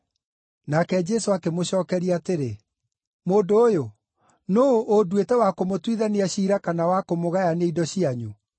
Nake Jesũ akĩmũcookeria atĩrĩ, “Mũndũ ũyũ, nũũ ũnduĩte wa kũmũtuithania ciira kana wa kũmũgayania indo cianyu?”